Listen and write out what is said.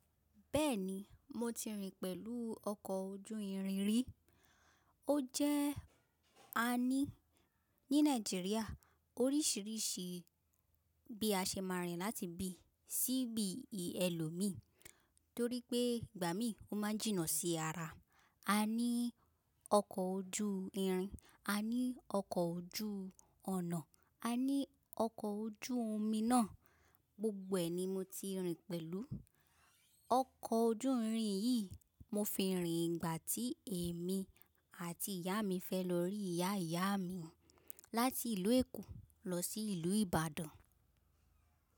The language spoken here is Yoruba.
Bẹ́ẹ̀ni, mo ti rìn pẹ̀lú ọkọ̀ ojú irin rí. Ó jẹ́ a ní ní Nàìjíríà oríṣiríṣi bí a ṣe máa rìn láti bí, ṣíbí i èlò mi torí pé ìgbà mí ò máa jìnnà sí ara. A ní ọkọ̀ ojú irin, a ní ọkọ̀ ojú ọnà, a ní ọkọ̀ ojú omi náà. Gbogbo ẹni mo ti rìn pẹ̀lú. Ọkọ̀ ojú irin yìí mo fi rìn ìgbà tí èmi àti ìyá mi fẹ́ lọ rí ìyá ìyá mi láti ìlú Èkó lọ sí ìlú Ìbàdàn.